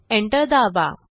enter दाबा